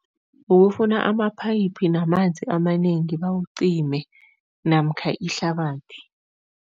Ukufuna amaphayiphi namanzi amanengi bawucime namkha ihlabathi.